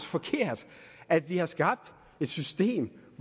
forkert at vi har skabt et system